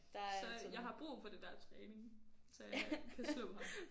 Så jeg har brug for det der træning til jeg kan slå ham